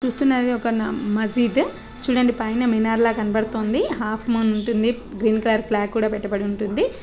చూస్తున్నారుగా ఇది ఒక న-మజీద్ చూడండి పైన మినార్ ల కనబడుతోంది హాఫ్ మూన్ ఉంటుంది గ్రీన్ కలర్ ఫ్లాగ్ కూడా పెట్టబడి ఉంటుంది.